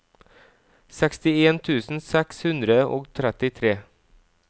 sekstien tusen seks hundre og trettitre